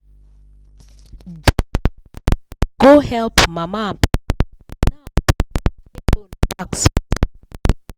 go help mama and pa